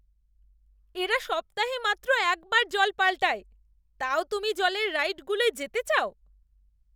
এরা সপ্তাহে মাত্র একবার জল পাল্টায়, তাও তুমি জলের রাইডগুলোয় যেতে চাও?